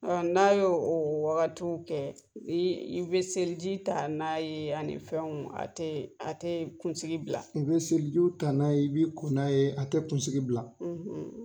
N'a ye o o wagatiw kɛ i i bɛ seliji ta n'a ye ani fɛnw a tɛ a tɛ kunsigi bila i bɛ selijiw ta n'a ye i b'i ko n'a ye a tɛ kunsigi bila.